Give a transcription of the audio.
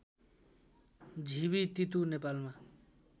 झिबी तितु नेपालमा